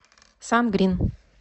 сан грин